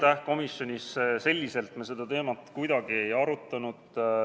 Ei, komisjonis selliselt me seda teemat kuidagi ei arutanud.